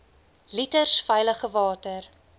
liters veilige water